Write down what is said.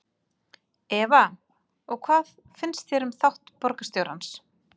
Eva: Og hvað finnst þér um þátt borgarstjórans?